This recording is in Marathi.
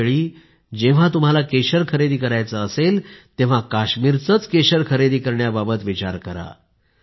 पुढल्या वेळी जेव्हा तुम्हाला केशर खरेदी करायचं असेल तेव्हा काश्मीरचेच केशर खरेदी करण्याबाबत विचार करा